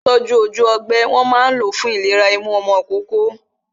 Ògùn tí wón fi ń tún ojú ọgbẹ́, wọn máa ń lo fún ìlera imú ọmọ ìkókó